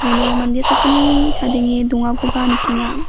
uno mande sakgnini chadenge dongakoba nikenga.